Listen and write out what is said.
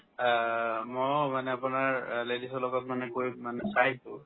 অ, ময়ো মানে আপোনাৰ অ ladies ৰ লগত মানে গৈ মানে চাইছো